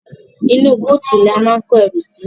Inú búùtù ni a máa ń kó ẹrù sí.